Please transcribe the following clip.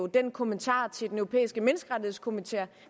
den kommentar til den europæiske menneskerettighedskommissær